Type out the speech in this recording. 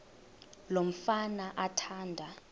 lo mfana athanda